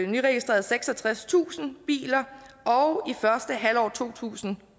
nyregistreret seksogtredstusind biler og i første halvår to tusind